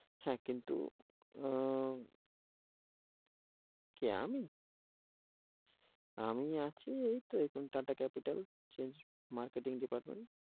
হেঁ, কিন্তু আহ কে আমি? আমি আছি এইতো এখন Tata capital, sales marketing department.